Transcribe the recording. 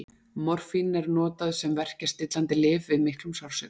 Morfín er notað sem verkjastillandi lyf við miklum sársauka.